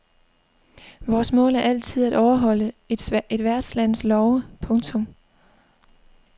Vores mål er altid at overholde et værtslands love. punktum